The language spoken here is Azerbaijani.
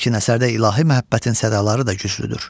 Lakin əsərdə ilahi məhəbbətin sədaları da güclüdür.